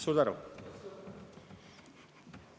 Suur tänu!